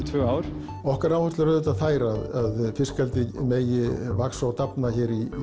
tvö ár okkar áherslur eru auðvitað þær að fiskeldi megi vaxa og dafna